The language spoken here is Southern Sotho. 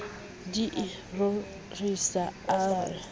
di e rorisa a ke